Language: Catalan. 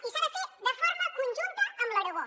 i s’ha de fer de forma conjunta amb l’aragó